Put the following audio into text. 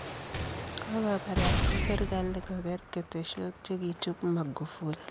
Kogobarasta serkali kogeer ketesyook chekichuup Mugufuli.